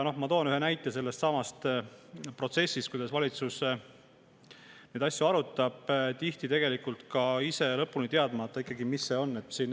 Ma toon ühe näite sellestsamast protsessist, kuidas valitsus neid asju arutab, tihti ise lõpuni teadmata, mis see ikkagi on.